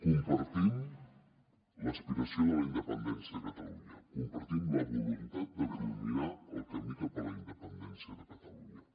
compartim l’aspiració de la independència de catalunya compartim la voluntat de culminar el camí cap a la independència de catalunya